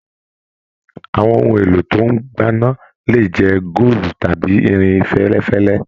Àwọn ohun èlò tó n gbana le jẹ góòlù tàbí irin fẹlẹfẹlẹ.